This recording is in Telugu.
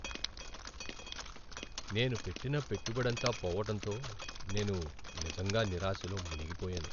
నేను పెట్టిన పెట్టుబడంతా పోవటంతో నేను నిజంగా నిరాశలో మునిగిపోయాను.